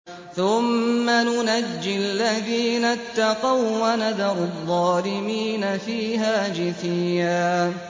ثُمَّ نُنَجِّي الَّذِينَ اتَّقَوا وَّنَذَرُ الظَّالِمِينَ فِيهَا جِثِيًّا